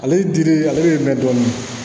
Ale dili ale bɛ mɛn dɔɔni